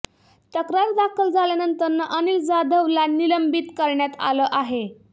तक्रार दाखल झाल्यानंतर अनिल जाधवला निलंबित करण्यात आलं आहे